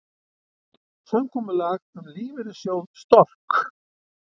Samkomulag um lífeyrissjóð Stork